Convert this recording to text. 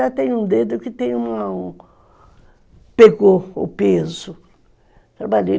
Até tem um dedo que pegou o peso.